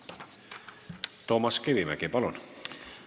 Toomas Kivimägi, palun!